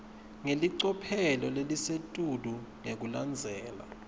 ngelicophelo lelisetulu ngekulandzela